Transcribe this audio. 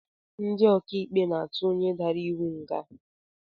Ndị ọkaikpe na-atụ onye dara iwu nga